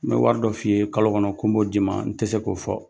N bɛ wari dɔ f'i ye kalo kɔnɔ ko n b'o d'i ma n tɛ se k'o fɔ